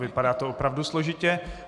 Vypadá to opravdu složitě.